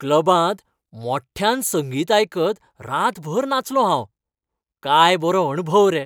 क्लबांत मोठ्यान संगीत आयकत रातभर नाचलों हांव . काय बरो अणभव रे.